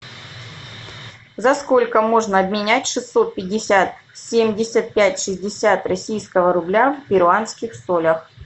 за сколько можно обменять шестьсот пятьдесят семьдесят пять шестьдесят российского рубля в перуанских солях